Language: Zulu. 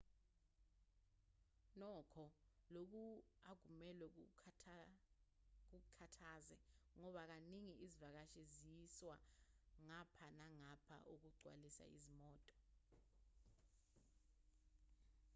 nokho lokhu akumelwe kukukhathaze ngoba kaningi izivakashi ziyiswa ngapha nangapha ukugcwalisa izimoto